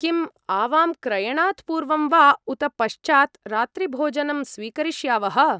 किम् आवां क्रयणात् पूर्वं वा उत पश्चात् रात्रिभोजनं स्वीकरिष्यावः?